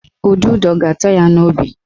Ududo ga-ata ya n'obi